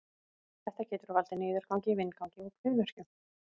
Þetta getur valdið niðurgangi, vindgangi og kviðverkjum.